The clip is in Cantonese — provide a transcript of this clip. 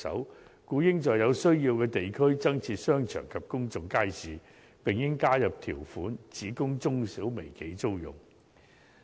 故此，政府應在有需要的地區增設商場及公眾街市，並應加入條款，只供中小微企租用。